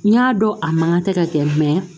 N y'a dɔn a mankan tɛ ka kɛ